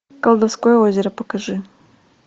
колдовское озеро покажи